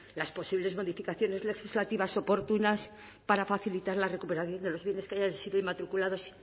las posibles modificaciones legislativas oportunas para facilitar la recuperación de los bienes que hayan sido inmatriculados